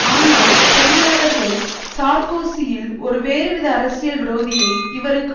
ஆனால் தொழிலாளர்கள் சார்க்கோசியில் ஒரு வேறுவித அரசியல் விரோதியை இவருக்கு